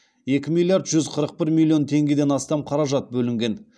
екі миллиард жүз қырық бір миллион теңгеден астам қаражат бөлінген